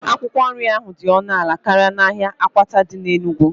Akwụkwọ nri dị ọnụ ala karịa n'ahịa akwata dị n'Enugwu